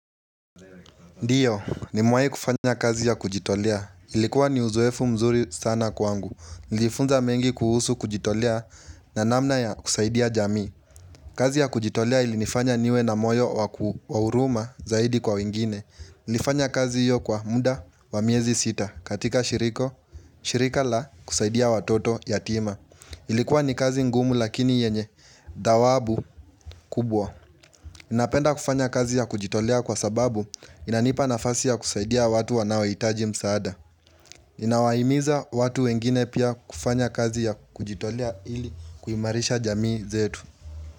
Ndio, nimewai kufanya kazi ya kujitolea. Ilikuwa ni uzoefu mzuri sana kwangu. Nilifunza mengi kuhusu kujitolea na namna ya kusaidia jamii kazi ya kujitolea ili nifanya niwe na moyo waku wa huruma zaidi kwa wengine. Nlifanya kazi hio kwa muda wa miezi sita katika shiriko, shirika la kusaidia watoto yatima. Ilikuwa ni kazi ngumu lakini yenye dawabu kubwa. Napenda kufanya kazi ya kujitolea kwa sababu inanipa nafasi ya kusaidia watu wanaohitaji msaada. Inawaimiza watu wengine pia kufanya kazi ya kujitolea ili kuimarisha jamii zetu.